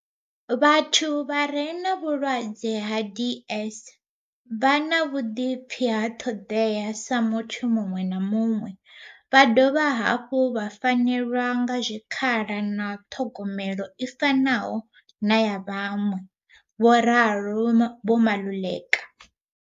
"Vhathu vha re na vhulwadze ha DS vha na vhuḓipfi na ṱhoḓea sa muthu muṅwe na muṅwe vha dovha hafhu vha fanelwa nga zwikhala na ṱhogomelo i fanaho na ya vhaṅwe," vho ralo Vho Maluleka.